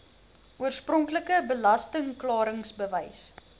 oorspronklike belasting klaringsbewys